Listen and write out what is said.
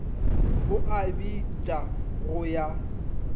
o a bitša go ya